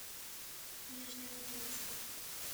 нижнеудинска